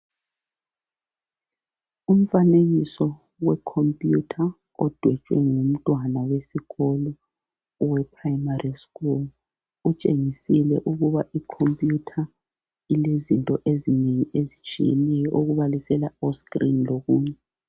Umfanekiso we computer odwetshwe ngumntwana wesikolo owe primary school .Utshengisile ukuba icomputer ilezinto ezinengi ezitshiyeneyo okubalisela o screen lokunye .